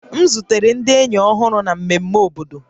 M zutere ndị enyi ọhụrụ na mmemme obodo